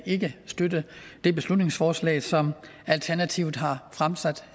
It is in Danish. ikke støtte det beslutningsforslag som alternativet har fremsat